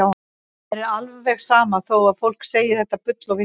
Mér er alveg sama þó að fólk segi þetta bull og vitleysu.